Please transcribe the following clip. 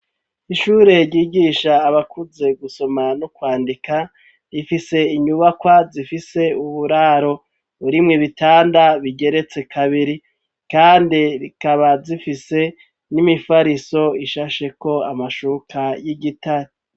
Ishure ryigisha abakuze gusoma no kwandika ,rifise inyubakwa zifise uburaro ,burimwe bitanda bigeretse kabiri, kandi rikaba zifise n'imifariso ishasheko amashuka y'igitari.